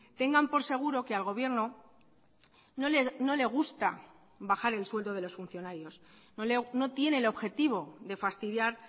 tengan por seguro que al gobierno no le gusta bajar el sueldo de los funcionarios no tiene el objetivo de fastidiar